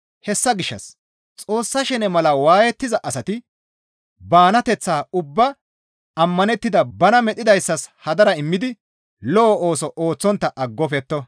Hessa gishshas Xoossa shene mala waayettiza asati banateththaa ubbaa ammanettida bana medhdhidayssas hadara immidi lo7o ooso ooththontta aggofetto.